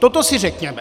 Toto si řekněme.